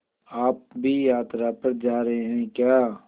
आप भी यात्रा पर जा रहे हैं क्या